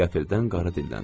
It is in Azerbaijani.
Qəfildən qarı dilləndi.